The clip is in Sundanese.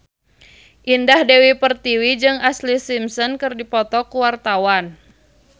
Indah Dewi Pertiwi jeung Ashlee Simpson keur dipoto ku wartawan